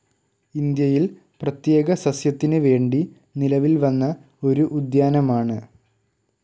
ഇന്ത്യയിൽ പ്രത്യേക സസ്യത്തിന് വേണ്ടി നിലവിൽവന്ന ഒരു ഉദ്യാനമാണ്.